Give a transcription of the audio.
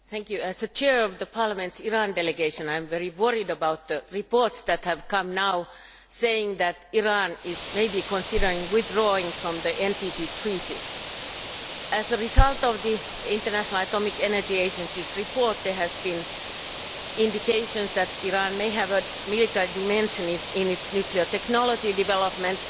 Madam President, as the Chair of the Parliament's Iran Delegation, I am very worried about the reports that have come now saying that Iran is maybe considering withdrawing form the NPT Treaty. As a result of the International Atomic Energy Agency's report, there have been indications that Iran may have a military dimension in its nuclear technology development.